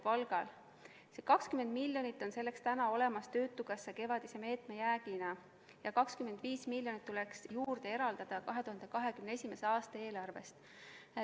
Selleks on 20 miljonit olemas töötukassa kevadise meetme jäägina ja 25 miljonit tuleks juurde eraldada 2021. aasta eelarvest.